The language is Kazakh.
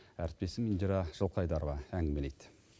әріптесім индира жылқайдарова әңгімелейді